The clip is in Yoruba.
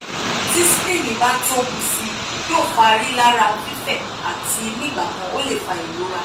ti spleen ba tobu sii yoo fa rilara fifẹ ati nigbakan o le fa ìrora